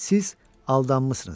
Siz aldanmısınız.